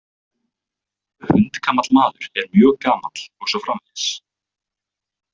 Hundgamall maður er mjög gamall og svo framvegis.